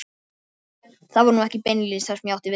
Það var nú ekki beinlínis það sem ég átti við.